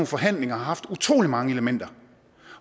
forhandlinger har haft utrolig mange elementer